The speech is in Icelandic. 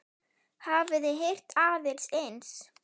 Hafið þið heyrt annað eins?